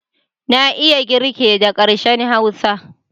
Na iya kirge da harshen Hausa.